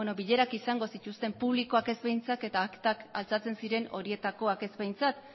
ba beno bilerak izango zituzten publikoak ez behintzat eta aktak altxatzen ziren horietakoak ez behintzat